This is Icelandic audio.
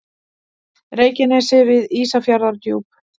Reykjanesi við Ísafjarðardjúp.